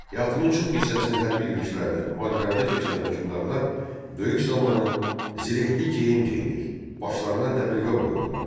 Həyatının çox hissəsini hərbi yürüşlərdə, müharibələrdə keçirən hökmdarlar döyüş zamanı zirehli geyim geyinir, başlarına dəbilqə qoyurdular.